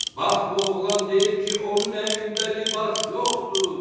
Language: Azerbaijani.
Bax bu oğlan deyir ki, onun əynində libas yoxdur!